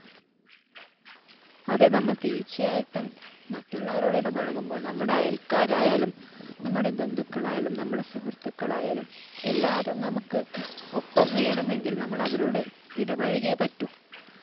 അതേ നമ്മള്‍ തീര്‍ച്ചയായിട്ടും മറ്റുള്ളവരോടിടപഴകുമ്പോള്‍ നമ്മുടെ അയല്‍ക്കാര്‍ ആയാലും, നമ്മുടെ ബന്ധുക്കളായാലും, നമ്മുടെ സുഹൃത്തുക്കളായാലും, എല്ലാവരും നമുക്ക് ഒപ്പം വേണമെങ്കിൽ നമ്മൾ അവരോട് ഇടപഴകിയെ പറ്റു.